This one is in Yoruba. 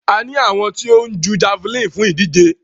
A ní àwọn tí ó ń jú javeline fún ìdíje.